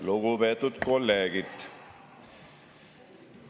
Lugupeetud kolleegid!